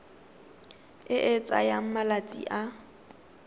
e e tsayang malatsi a